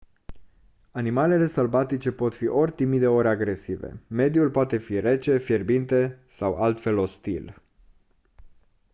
animalele sălbatice pot fi ori timide ori agresive mediul poate fi rece fierbinte sau altfel ostil